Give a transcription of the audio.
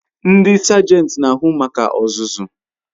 Ndi sagenti n'ahu maka ozuzu